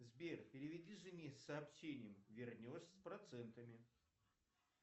сбер переведи жене с сообщением вернешь с процентами